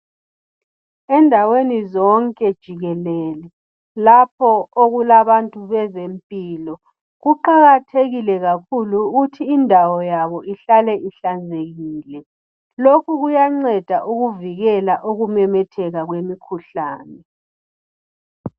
Endaweni zonke jikelele lapho okulabantu bezempilo kuqakathekile kakhulu ukuthi indawo yabo ihlale ihlanzekile. Lokhu kuyanceda ukuvikela ukumemetheka kwemikhuhlane.